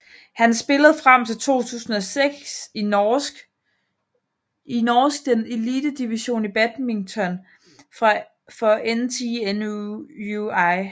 Han spillede frem til 2006 i norsk den elitedivision i badminton for NTNUI